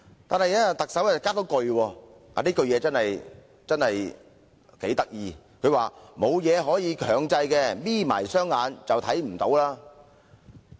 不過，特首卻補充了一句很有趣的話，就是："沒有東西可以強制，'瞇'起雙眼便看不見"。